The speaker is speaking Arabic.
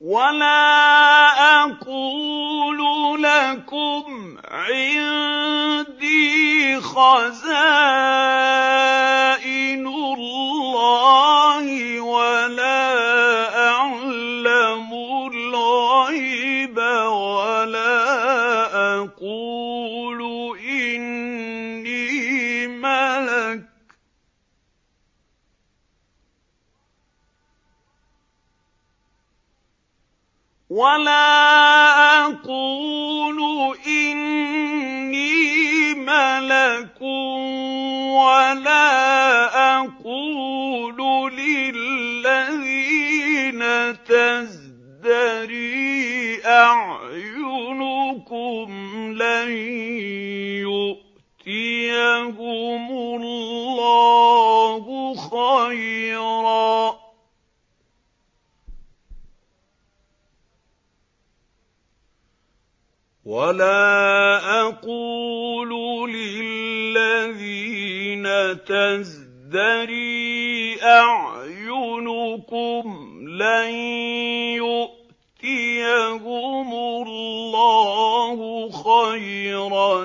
وَلَا أَقُولُ لَكُمْ عِندِي خَزَائِنُ اللَّهِ وَلَا أَعْلَمُ الْغَيْبَ وَلَا أَقُولُ إِنِّي مَلَكٌ وَلَا أَقُولُ لِلَّذِينَ تَزْدَرِي أَعْيُنُكُمْ لَن يُؤْتِيَهُمُ اللَّهُ خَيْرًا ۖ